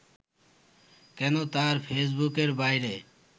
কেন তার ফেসবুকের বাইরে